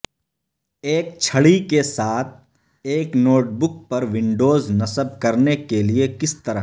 ایک چھڑی کے ساتھ ایک نوٹ بک پر ونڈوز نصب کرنے کے لئے کس طرح